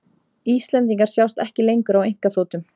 Íslendingar sjást ekki lengur á einkaþotum